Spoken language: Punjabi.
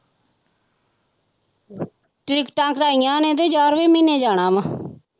ਟਿੱਕਟਾਂ ਕਰਵਾਈਆਂ ਨੇ ਤੇ ਗਿਆਰਵੇਂ ਮਹੀਨੇ ਜਾਣਾ ਵਾਂ